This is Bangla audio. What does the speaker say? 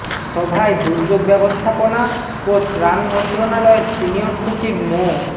সভায় দুর্যোগ ব্যবস্থাপনা ও ত্রাণ মন্ত্রণালয়ের সিনিয়র সচিব মো